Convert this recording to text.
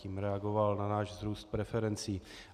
Tím reagoval na náš růst preferencí.